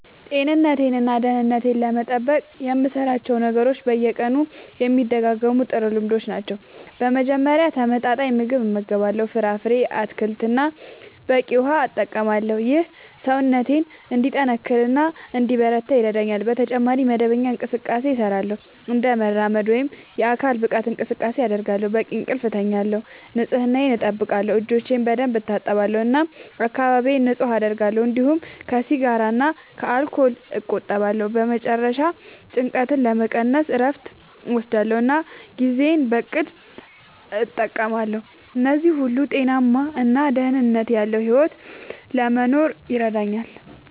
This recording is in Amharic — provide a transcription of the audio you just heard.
ጤንነቴን እና ደህንነቴን ለመጠበቅ የምሠራቸው ነገሮች በየቀኑ የሚደጋገሙ ጥሩ ልምዶች ናቸው። በመጀመሪያ ተመጣጣኝ ምግብ እመገባለሁ፣ ፍራፍሬ፣ አትክልት እና በቂ ውሃ እጠቀማለሁ። ይህ ሰውነቴን እንዲጠናከር እና እንዲበረታ ይረዳኛል። በተጨማሪ መደበኛ እንቅስቃሴ እሠራለሁ፣ እንደ መራመድ ወይም የአካል ብቃት እንቅስቃሴ አደርጋለሁ፣ በቂ እንቅልፍ እተኛለሁ፣ ንጽህናየን አጠብቃለሁ (እጆቼን በደንብ እታጠባለሁ እና አካባቢዬን ንጹህ አደርጋለሁ)፤እንዲሁም ከሲጋራ እና ከአልኮል እቆጠባለሁ። በመጨረሻ ጭንቀትን ለመቀነስ እረፍት እወስዳለሁ እና ጊዜዬን በእቅድ እጠቀማለሁ። እነዚህ ሁሉ ጤናማ እና ደህንነት ያለዉ ሕይወት ለመኖር ይረዳኛል።